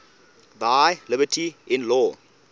thy liberty in law